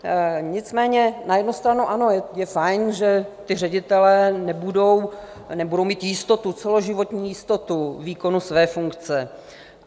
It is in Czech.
Nicméně na jednu stranu ano, je fajn, že ti ředitelé nebudou mít jistotu, celoživotní jistotu výkonu své funkce.